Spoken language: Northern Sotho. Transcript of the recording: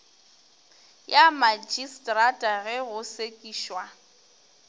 ya magistrata ge go sekišwa